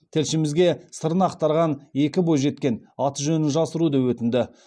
тілшімізге сырын ақтарған екі бойжеткен аты жөнін жасыруды өтінді